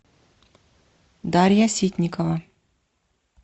дарья ситникова